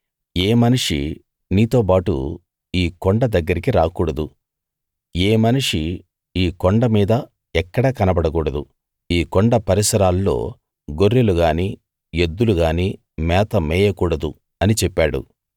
ఏ మనిషీ నీతోబాటు ఈ కొండ దగ్గరికి రాకూడదు ఏ మనిషీ ఈ కొండ మీద ఎక్కడా కనబడకూడదు ఈ కొండ పరిసరాల్లో గొర్రెలు గానీ ఎద్దులుగానీ మేత మేయకూడదు అని చెప్పాడు